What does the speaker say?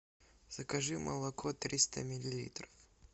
закажи молоко триста миллилитров